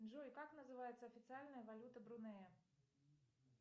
джой как называется официальная валюта брунея